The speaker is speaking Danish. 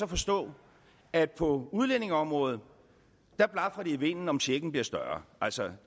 forstå at på udlændingeområdet blafrer det i vinden om checken bliver større altså